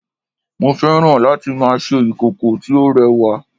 mo fẹ́ràn láti ma ṣe ìkòkò tí ó rẹwa